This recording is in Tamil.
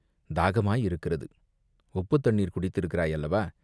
"தாகமாயிருக்கிறது!" "உப்புத்தண்ணீர் குடித்திருக்கிறாய் அல்லவா?